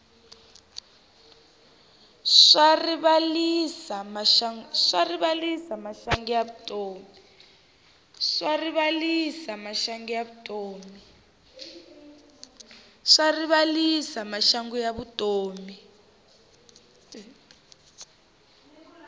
swa rivalisa maxangu ya vutomi